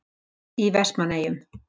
Í Vestmannaeyjum.